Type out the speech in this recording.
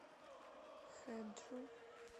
хэджу